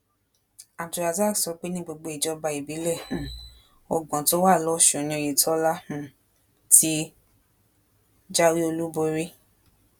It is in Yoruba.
abdulrasaq sọ pé ní gbogbo ìjọba ìbílẹ um ọgbọn tó wà lọsùn ni oyetola um ti jáwé olúborí